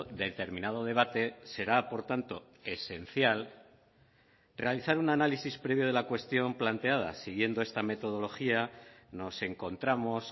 determinado debate será por tanto esencial realizar un análisis previo de la cuestión planteada siguiendo esta metodología nos encontramos